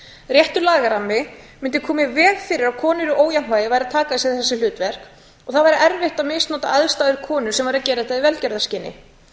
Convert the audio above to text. réttur lagarammi mundi koma í veg fyrir að konur í ójafnvægi væru að taka að sér þessi hlutverk og það væri erfitt að misnota aðstæður konu sem væri að gera þetta í velgjörðarskyni